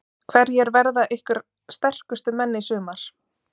Hverjir verða ykkar sterkustu menn í sumar?